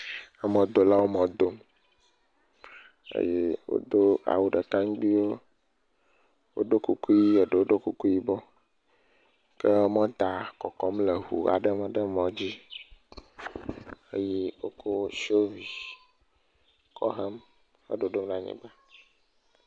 Emɔdolawo mɔ dom eye wodo awu ɖeka ŋgbiwo, woɖo kuku ʋi eɖewo ɖo kuku ʋibɔ ke mɔta kɔkɔm le ŋu aɖe me ɖe mɔ dzi eye wokɔ sofi kɔ hem edodom ɖe anyigba.